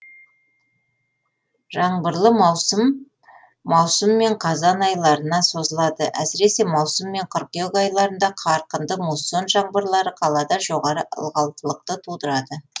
жаңбырлы маусым маусым мен қазан айларына созылады әсіресе маусым мен қыркүйек айларында қарқынды муссон жаңбырлары қалада жоғары ылғалдылықты тудырады